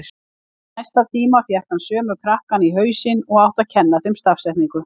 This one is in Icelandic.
Í næsta tíma fékk hann sömu krakkana í hausinn og átti að kenna þeim stafsetningu.